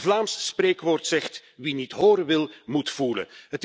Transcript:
Een Vlaams spreekwoord zegt Wie niet horen wil, moet voelen.